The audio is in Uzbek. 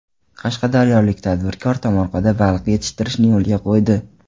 Qashqadaryolik tadbirkor tomorqada baliq yetishtirishni yo‘lga qo‘ydi.